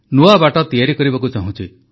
ନୂଆ ବାଟ ତିଆରି କରିବାକୁ ଚାହୁଁଛି